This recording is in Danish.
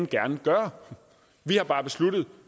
gerne gøre vi har bare besluttet